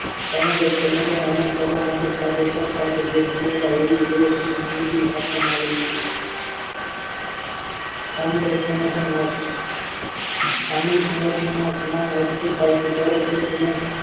સામુદાયિક સંગઠનોં અમલ કરવા માટે કાર્યકર્તા જે વિષમતા હોવી જોઈએ તેમની માહિતી આપવામાં આવેલ છે સામુદાયિક સંગઠન નો અર્થ સામુહિક સંગઠનનો ગુનાઓ આ રીતે થાય છે જયારે જે સમૂહ